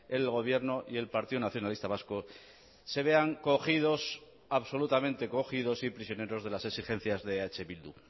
el gobierno y el partido nacionalista vasco se vean cogidos absolutamente cogidos y prisioneros de las exigencias de eh bildu